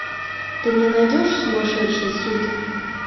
ты мне найдешь сумасшедшие суки